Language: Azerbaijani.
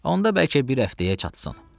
Onda bəlkə bir həftəyə çatsın.